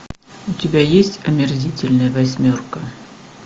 у тебя есть омерзительная восьмерка